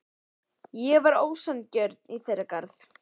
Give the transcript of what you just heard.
Ég var ósanngjörn í þeirra garð.